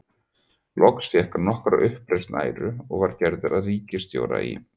Loks fékk hann nokkra uppreisn æru og var gerður að ríkisstjóra í